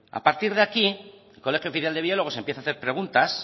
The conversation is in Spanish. a partir de aquí el colegio oficial de biólogos empieza a hacer preguntas